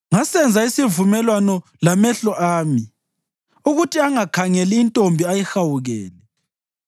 “Ngasenza isivumelwano lamehlo ami ukuthi angakhangeli intombi ayihawukele.